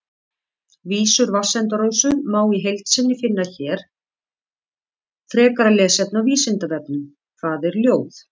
Vísur Vatnsenda-Rósu má í heild sinni finna hér Frekara lesefni á Vísindavefnum: Hvað er ljóð?